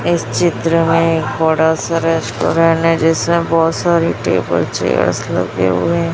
इस चित्र में एक बड़ा सा रेस्टोरेंट है जिसमें बहुत सारी टेबल चेयर्स लगे हुए--